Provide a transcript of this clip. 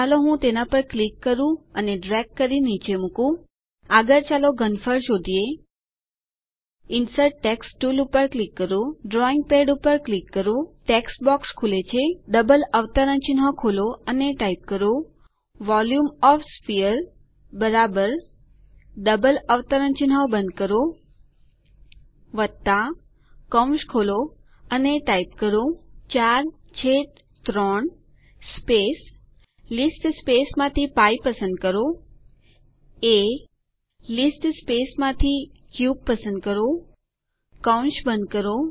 ચાલો હું તેના પર ક્લિક કરૂ ડ્રેગ કરી નીચે મુકું આગળ ચાલો ઘનફળ શોધીએ ઇન્સર્ટ ટેક્સ્ટ ટુલ પર ક્લિક કરો ડ્રોઈંગ પેડ પર ક્લિક કરો ટેક્સ્ટ બોક્સ ખુલે છે ડબલ અવતરણચિહ્નો ખોલો અને ટાઇપ કરો volume of the sphere double અવતરણચિહ્નો બંધ કરો કૌંસ ખોલો અને ટાઇપ કરો 43 સ્પેસ લીસ્ટ સ્પેસમાંથી π પસંદ કરો એ sલીસ્ટમાંથી ક્યુબ પસંદ કરો કૌંસ બંધ કરો